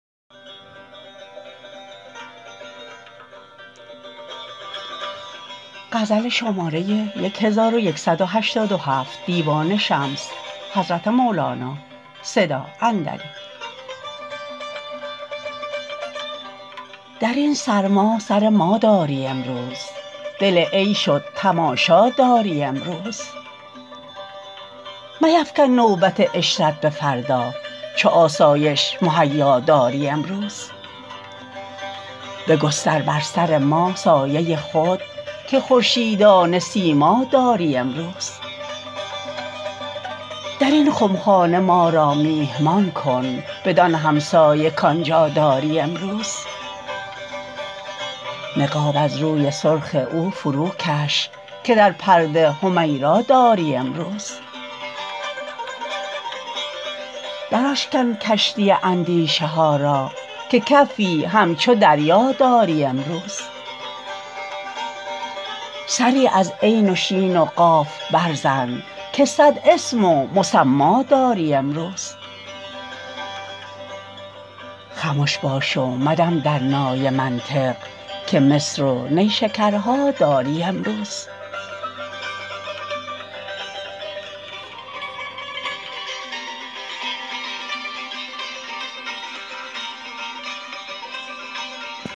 در این سرما سر ما داری امروز دل عیش و تماشا داری امروز میفکن نوبت عشرت به فردا چو آسایش مهیا داری امروز بگستر بر سر ما سایه خود که خورشیدانه سیما داری امروز در این خمخانه ما را میهمان کن بدان همسایه کان جا داری امروز نقاب از روی سرخ او فروکش که در پرده حمیرا داری امروز دراشکن کشتی اندیشه ها را که کفی همچو دریا داری امروز سری از عین و شین و قاف برزن که صد اسم و مسما داری امروز خمش باش و مدم در نای منطق که مصر و نیشکرها داری امروز